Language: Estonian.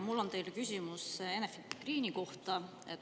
Mul on teile küsimus Enefit Greeni kohta.